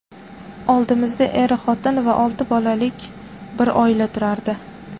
Oldimizda er-xotin va olti bolalik bir oila turardi.